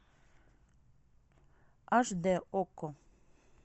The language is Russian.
аш д окко